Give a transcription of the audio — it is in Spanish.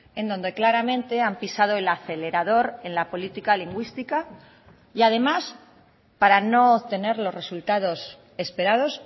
en donde claramente han pisado el acelerador en la política lingüística y además para no tener los resultados esperados